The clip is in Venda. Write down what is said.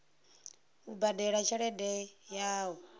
u badela tshelede ya u